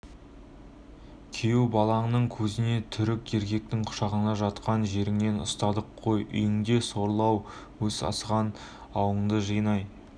күйеу балаңның көзінше түрік еркектің құшағында жатқан жеріңнен ұстадық қой үйіңде сорлы-ау өз сасыған ауыңды жинай